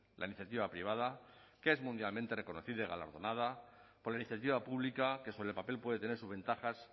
la iniciativa privada que es mundialmente reconocida y galardonada por la iniciativa pública que sobre el papel puede tener sus ventajas